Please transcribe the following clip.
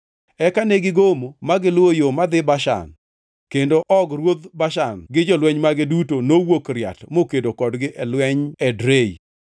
Eka negigomo ma giluwo yo madhi Bashan, kendo Og ruodh Bashan gi jolweny mage duto nowuok riat mokedo kodgi e lweny Edrei.